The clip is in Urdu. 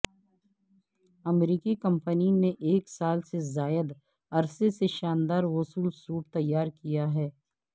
امریکی کمپنی نے ایک سال سے زائد عرصے سے شاندار غسل سوٹ تیار کیا ہے